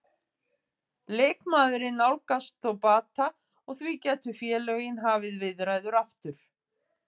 Leikmaðurinn nálgast þó bata og því gætu félögin hafið viðræður aftur.